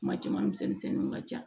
Kuma caman misɛnninw ka ca